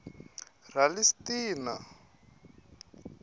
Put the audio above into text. ralistina